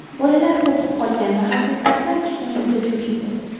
Bolalar qo‘rqib qolgan va haqiqatni aytishdan juda cho‘chiydi.